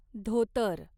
धोतर